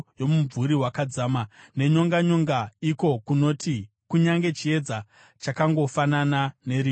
kunyika yerima guru, yomumvuri wakadzama nenyonganyonga, iko kunoti kunyange chiedza chakangofanana nerima.”